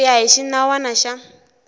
ku ya hi xinawana xa